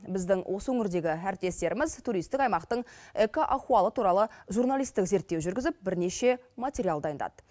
біздің осы өңірдегі әріптестеріміз туристік аймақтың эко ахуалы туралы журналистік зерттеу жүргізіп бірнеше материал дайындады